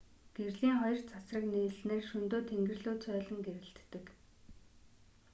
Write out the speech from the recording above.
гэрлийн хоёр цацраг нийлснээр шөнөдөө тэнгэр лүү цойлон гэрэлтдэг